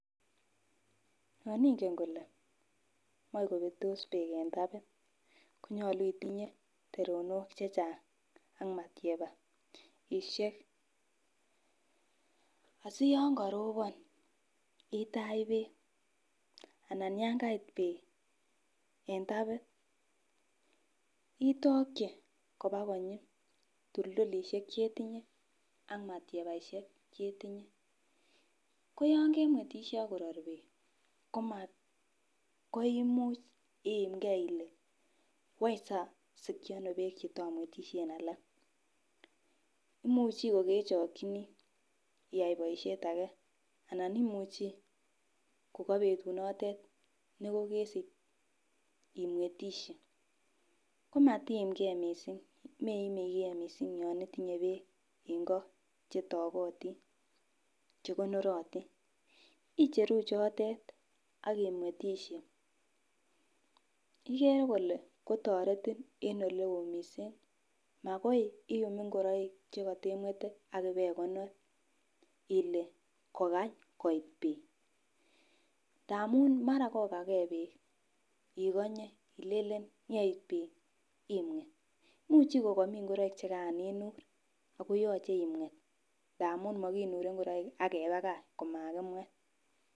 Yon ingen kole moi kopetos beek en tapit konyolu itinye teronik chechang ak matyabaishek asiyon koropon itach beek anan yan kait beek en tapit itoki koba konyi tuldulishek chetinye ak matyabaishek chetinye. Koyon kemwetishei ak koror beek komakoumuch iimgee Ile wany sosiki ono beek chetomwetishen alak imuchi ko kochekinii iyai boishet age ana imuchi ko ko betu notet nekikisich imwetishe komatiim gee missing meime gee missing yon itinye beek en kot chetokotin chekonorotin, icheruu chotet ak imwetishe ko ikere kole kotoretin en oleo missing. Makoi I'm ingoroik chekotemwete ak ibeikonor Ile kokany koit beek ndamu mara kokagee beek ikonyee ilelen yeit beek imwet. Muchi komomii ngoroik chekaran inur ako yoche imwet ndamun mokinure ingoroik ak kepakach komakimwet.